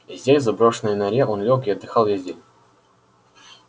здесь в заброшенной норе он лёг и отдыхал весь день